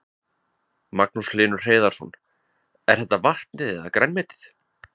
Magnús Hlynur Hreiðarsson: Er þetta vatnið eða grænmetið?